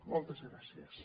moltes gràcies